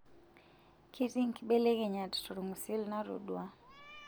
Ketii nkibelekenyat tolng'usil natoduaa?